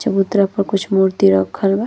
चबूतरा प कुछ मूर्ति रखल बा।